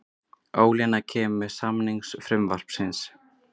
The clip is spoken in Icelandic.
Ólína kemur að samningu frumvarpsins